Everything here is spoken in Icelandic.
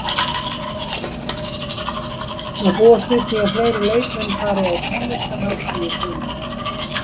Má búast við því að fleiri leikmenn fari á tónlistarhátíð í sumar?